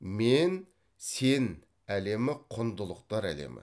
мен сен әлемі құндылықтар әлемі